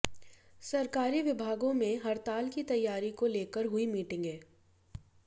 सरकारी विभागों में हड़ताल की तैयारी को लेकर हुईं मीटिंगें